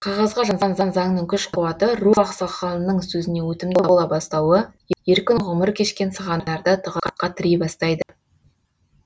қағазға жазылған заңның күш қуаты ру ақсақалының сөзінен өтімді бола бастауы еркін ғұмыр кешкен сығандарды тығырыққа тірей бастайды